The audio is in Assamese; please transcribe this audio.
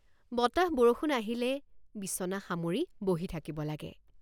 বতাহবৰষুণ আহিলে বিচনা সামৰি বহি থাকিব লাগে।